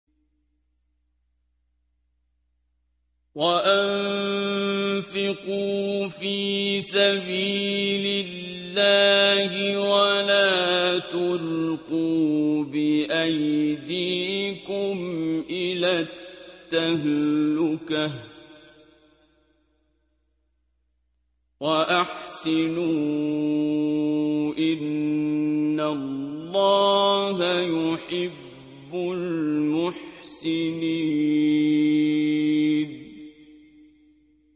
وَأَنفِقُوا فِي سَبِيلِ اللَّهِ وَلَا تُلْقُوا بِأَيْدِيكُمْ إِلَى التَّهْلُكَةِ ۛ وَأَحْسِنُوا ۛ إِنَّ اللَّهَ يُحِبُّ الْمُحْسِنِينَ